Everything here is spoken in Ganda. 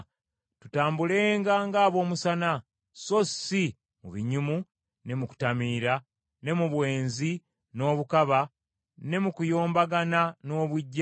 Tutambulenga ng’ab’omu musana, so si mu binyumu ne mu kutamiira, ne mu bwenzi n’obukaba, ne mu kuyombagana n’obuggya,